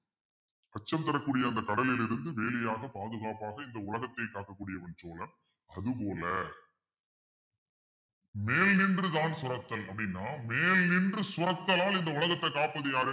அச்சம் தரக்கூடிய அந்த கடலில் இருந்து வேலியாக பாதுகாப்பாக இந்த உலகத்தை காக்கக்கூடிய அது போல மேல் நின்றுதான் சுரத்தல் அப்படின்னா மேல் நின்று சுரத்தலால் இந்த உலகத்தை காப்பது யாரு